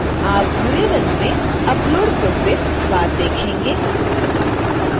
आप भूरे रंग में upload progress बार देखेंगे